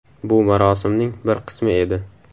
Bu marosimning bir qismi edi.